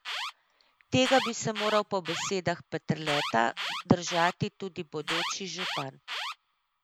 Tega bi se moral po besedah Peterleta držati tudi bodoči župan.